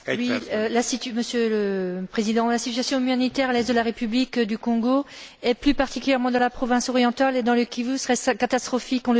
Monsieur le Président, la situation humanitaire à l'est de la République du Congo, et plus particulièrement dans la province orientale et dans le Kivu, serait catastrophique, on le sait maintenant.